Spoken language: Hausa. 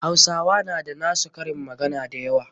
Hausawa na da na su karin magana da yawa.